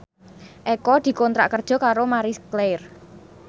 Eko dikontrak kerja karo Marie Claire